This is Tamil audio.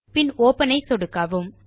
பின் ஒப்பன் ஐ சொடுக்கவும்